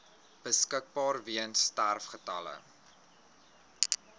beskikbaar weens sterfgevalle